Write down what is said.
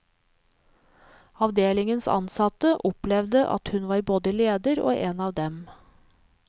Avdelingens ansatte opplevde at hun var både leder og en av dem.